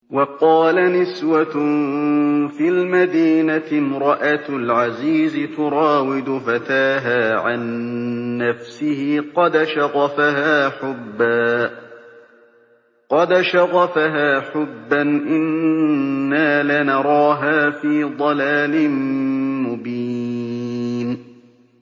۞ وَقَالَ نِسْوَةٌ فِي الْمَدِينَةِ امْرَأَتُ الْعَزِيزِ تُرَاوِدُ فَتَاهَا عَن نَّفْسِهِ ۖ قَدْ شَغَفَهَا حُبًّا ۖ إِنَّا لَنَرَاهَا فِي ضَلَالٍ مُّبِينٍ